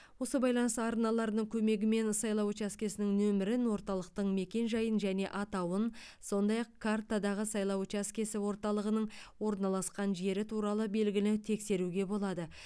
осы байланыс арналарының көмегімен сайлау учаскесінің нөмірін орталықтың мекенжайын және атауын сондай ақ картадағы сайлау учаскесі орталығының орналасқан жері туралы белгіні тексеруге болады